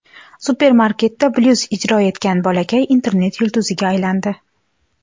Supermarketda blyuz ijro etgan bolakay internet yulduziga aylandi.